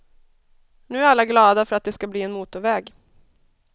Nu är alla glada för att det ska bli en motorväg.